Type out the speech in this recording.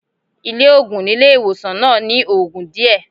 Ilé òògùn nílé ìwòsàn náà ní ogún díẹ̀.